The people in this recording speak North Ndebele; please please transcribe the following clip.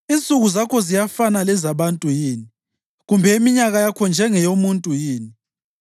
Insuku zakho ziyafanana lezabantu yini, kumbe iminyaka yakho njengeyomuntu yini,